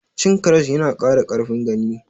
Cin karas ya na ƙara ƙarfin gani